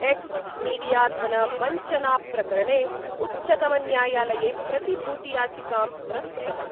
X मीडियाधनवञ्चनाप्रकरणे उच्चतमन्यायालये प्रतिभूतियाचिकां प्रस्तुतवान्।